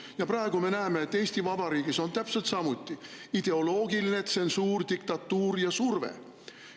Ja praegu me näeme, et Eesti Vabariigis on täpselt samuti ideoloogiline tsensuur, diktatuur ja surve.